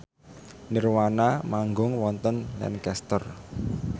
nirvana manggung wonten Lancaster